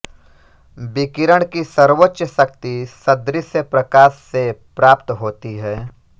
विकिरण की सर्वोच्च शक्ति सदृश्य प्रकाश से प्राप्त होती है